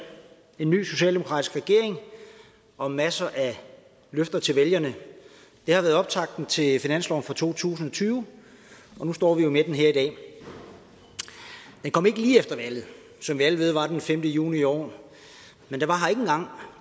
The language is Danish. vi ny socialdemokratisk regering og en masse løfter til vælgerne det har været optakten til finanslov for to tusind og tyve og nu står vi med forslaget her i dag det kom ikke lige efter valget som vi alle ved var den femte juni i år og